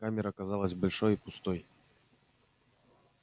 камера казалась большой и пустой